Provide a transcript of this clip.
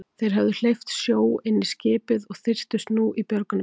Þeir höfðu hleypt sjó inn í skipið og þyrptust nú í björgunarbátana.